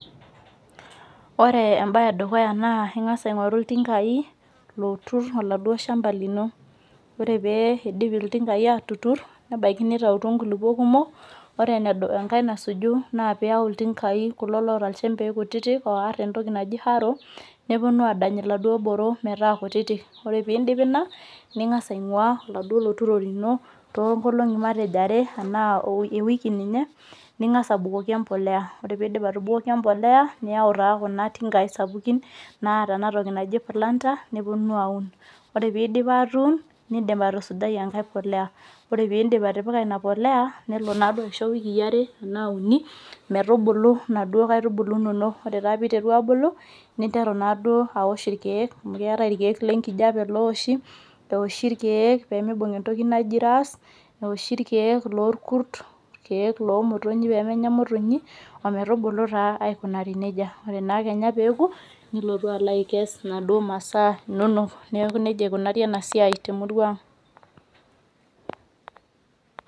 Ore embae edukuya naa ingas aingoru iltinkai lotur oladuo shamba lino, ore pee idip iltinkai atutur nebaiki nitautuo nkulupuok kumok , naa ore enasuju naa piyau iltinkai lelo loata nchempei kutitik oar entoki naji harrow .neponu adany iladuo boro metaa kutitik , ore pindip ina ningas ainguaa oladuo loturo lino toonkolongi matejo are enaa matejo ewiki ninye , ningas abukoki empolea, ore pindip atubukoki empolea , niyau taa kuna tingai sapukin naata enatoki naji planter neponu aun, ore peeponu aun , nindim aitusujai enkae polea , ore pindip atipika ina polea , nelo naaduo aisho iwikii are , enaa uni metubulu inaduo aitubulu inonok , ore naa piteru abulu , ninteru naaduo aosh irkiek amu keetae irikiek lenkijape loowosho, eoshi irkiek pemibung entoki naji ras ,eoshi irkiek loorkurt ,irkiek lomotonyi pemenya imotonyi ometubulu naa aikunari nejia. Ore naa peoku , nilotu alo aikesh inaduo masaa inonok , neeku nejia ikunari enasiai temurua ang.